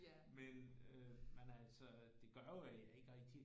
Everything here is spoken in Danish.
Men øh men altså det gør jo at jeg ikke rigtig